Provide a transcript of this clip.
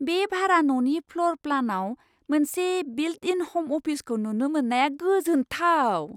बे भारा ननि फ्ल'र प्लानाव मोनसे बिल्ट इन हम अफिसखौ नुनो मोननाया गोजोनथाव।